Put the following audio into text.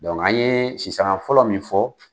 Dɔnku an ye sisanga fɔlɔ min fɔ